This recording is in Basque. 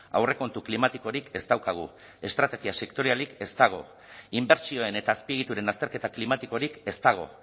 aurrekontu klimatikorik ez daukagu estrategia sektorialik ez dago inbertsioen eta azpiegituren azterketa klimatikorik ez dago